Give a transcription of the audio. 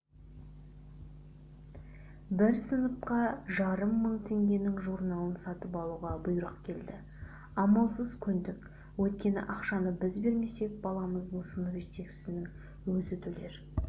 бір сыныпқа жарым мың теңгенің журналын сатып алуға бұйрық келді амалсыз көндік өйткені ақшаны біз бермесек баламыздың сынып жетекшісінің өзі төлер